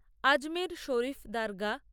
Ajmer Sharif Dargah